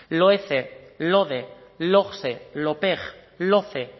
loece lode logse lopeg loce